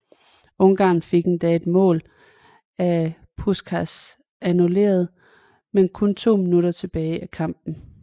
Ungarn fik endda et mål af Puskás annuleret med kun 2 minutter tilbage af kampen